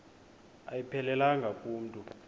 ayiphelelanga ku mntu